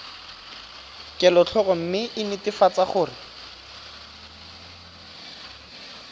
kelotlhoko mme o netefatse gore